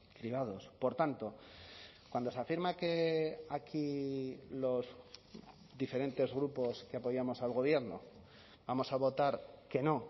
cribados por tanto cuando se afirma que aquí los diferentes grupos que apoyamos al gobierno vamos a votar que no